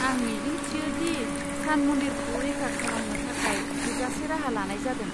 आं मिजिं थियो दि सान मन्दिरखौ रैखा खालामनो थाखाय थोजासे राहा लानाय जादों।